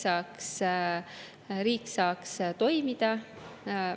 Selleks, et riik saaks toimida.